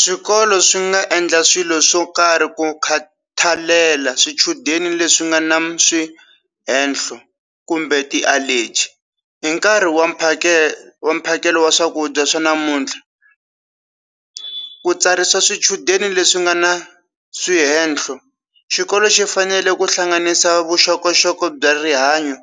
Swikolo swi nga endla swilo swo karhi ku khathalela swichudeni leswi nga na swi henhlo kumbe ti allergy hi nkarhi wa mphakelo wa mphakelo wa swakudya swa namuntlha ku tsarisa swichudeni leswi nga na swihenhlo xikolo xi fanele ku hlanganisa vuxokoxoko bya rihanyo